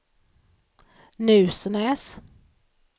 Nusnäs